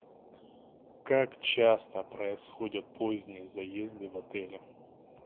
как часто происходят поздние заезды в отели